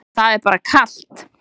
Það er bara kalt.